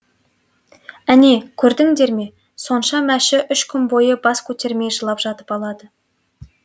әне көрдіңдер ме сонда мәші үш күн бойы бас көтермей жылап жатып алады